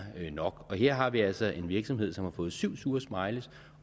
nok her har vi altså en virksomhed som har fået syv sure smileys